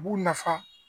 U b'u nafa